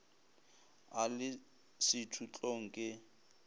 a le sethutlong ke ye